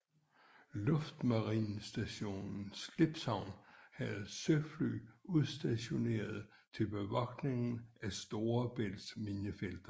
Luftmarinestation Slipshavn havde søfly udstationeret til bevogtning af Storebælts minefelter